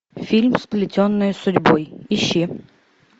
фильм сплетенные судьбой ищи